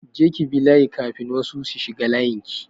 Je ki bi layi kafin wasu su shiga layin ki!